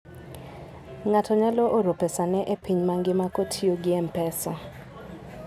Ng'ato nyalo oro pesane e piny mangima kotiyo gi M-Pesa.